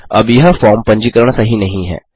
अब यह फॉर्म पंजीकरण सही नहीं है